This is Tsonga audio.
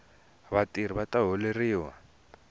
vatirhi vata holeriwa